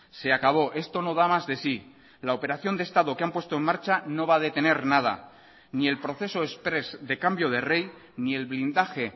se acabó esto no da más de sí la operación de estado que han puesto en marcha no va a detener nada ni el proceso exprés de cambio de rey ni el blindaje